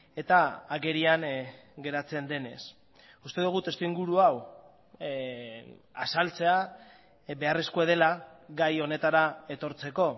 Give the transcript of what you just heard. eta agerian geratzen denez uste dugu testuinguru hau azaltzea beharrezkoa dela gai honetara etortzeko